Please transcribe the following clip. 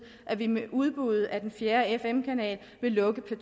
at vi med udbuddet af den fjerde fm kanal vil lukke p